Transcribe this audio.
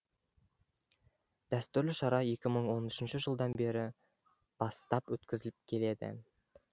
дәстүрлі шара екі мың он үшінші жылдан бері бастап өткізіліп келеді